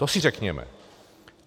To si řekněme.